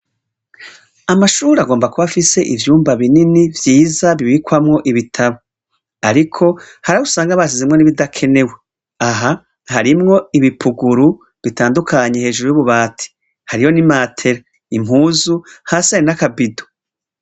Amashuri agomba kubafise ivyumba binini vyiza bibikwamwo ibitabo, ariko harah usanga bashizimwo n'ibidakenewe aha harimwo ibipuguru bitandukanyi hejuru y'ububati hariho ni matela impuzu ha sianakabidu.